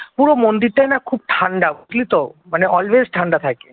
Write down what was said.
পুরো মন্দির টাই না খুব ঠান্ডা বুঝলি তো মানে অলওয়েজ ঠান্ডা থাকে